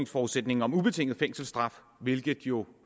forudsætninger om ubetinget fængselsstraf hvilket jo